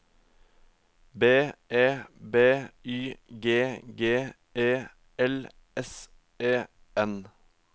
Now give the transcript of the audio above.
B E B Y G G E L S E N